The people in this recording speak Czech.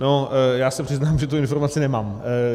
No, já se přiznám, že tu informaci nemám.